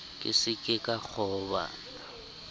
ke se ke ka kgoba